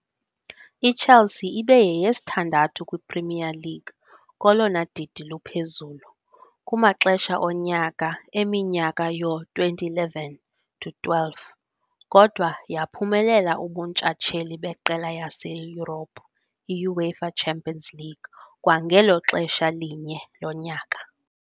IChelsea ibe yeyesithandathu kwiPremier League kolona didi luphezulu kumaxesha onyaka eminyaka yoo-2011 to 12, kodwa yaphumelela ubuntshatsheli beqela laseYurophu, i-UEFA Champions League, kwangelo xesha linye lonyaka.